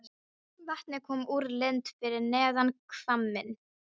Vatnið kom úr lind fyrir neðan hvamminn.